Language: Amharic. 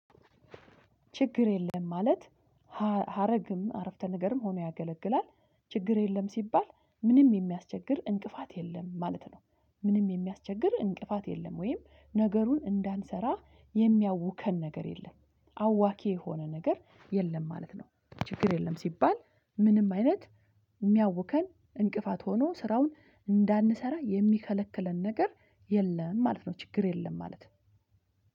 ችግር የለም ማለት ሀረግም አረፍተ ነገርም ሆኖ ያገለግላል። ችግር የለም ሲባል ምንም የሚያስቸግር እንቅፋት የለም ማለት ነው። ምንም የሚያስቸግር እንቅፋት የለም ወይም ነገሩን እንዳንሰራ የሚያውከን ነገር የለም አዋኪ የሆነ ነገር የለም ማለት ነው። ችግር የለም ሲባል ምንም አይነት የሚያውከን እንቅፋት ሆኖ ስራውን እንዳንሰራ የሚከለክለን ነገር የለም ማለት ነው። ችግር የለም ማለት ነው።